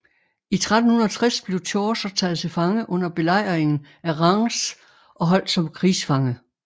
I 1360 blev Chaucer taget til fange under belejringen af Reims og holdt som krigsfange